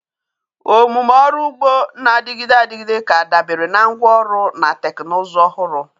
Omume ọrụ ugbo na-adịgide adịgide ga-adabere na ngwa ọrụ na teknụzụ ọhụrụ.